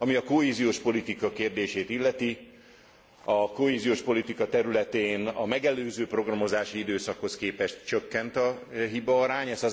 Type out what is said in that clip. Ami a kohéziós politika kérdését illeti, a kohéziós politika területén a megelőző programozási időszakhoz képest csökkent a hibaarány.